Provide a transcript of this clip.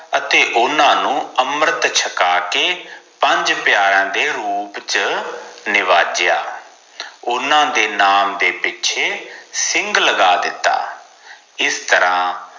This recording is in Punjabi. ਅਤੇ ਓਨਾ ਨੂੰ ਅਮ੍ਰਤਰ ਛਕਾ ਕੇ ਪੰਜ ਪਿਆਰਿਆਂ ਦੇ ਰੂਪ ਚ ਨਾਵਜਯਾ ਓਨਾ ਦੇ ਨਾਮ ਦੇ ਪਿੱਛੇ ਸਿੰਘ ਲਗਾ ਦਿੱਤੋ ਇਸ ਤਰਾਂ